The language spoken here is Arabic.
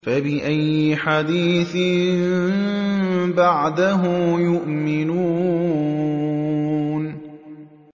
فَبِأَيِّ حَدِيثٍ بَعْدَهُ يُؤْمِنُونَ